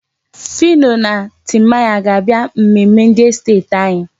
Phyno na Timaya ga-abịa mmemme ndị estet anyị.